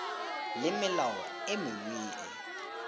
le melao e mengwe e